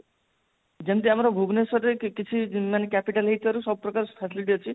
ଯେମତି ଆମର ଭୁବନେଶ୍ବରରେ କିଛି ମାନେ capital ହେଇଥିବାରୁ ସବୁ ପ୍ରକାର facility ଅଛି